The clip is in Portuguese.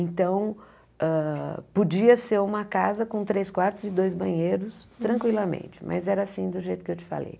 Então, hã podia ser uma casa com três quartos e dois banheiros tranquilamente, mas era assim do jeito que eu te falei.